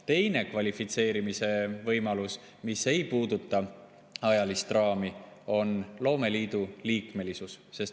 Teine kvalifitseerumise võimalus, mis ei puuduta ajalist raami, on loomeliidu liikmesus.